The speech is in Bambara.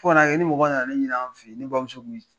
Fo ka n'a kɛ ni mɔgɔ nana ni ɲini an fɛ yen ne bamuso tun bɛ